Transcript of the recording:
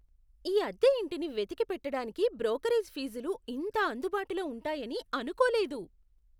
ఈ అద్దె ఇంటిని వెతికి పెట్టడానికి బ్రోకరేజ్ ఫీజులు ఇంత అందుబాటులో ఉంటాయని అనుకోలేదు!